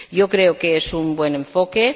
Creo que es un buen enfoque.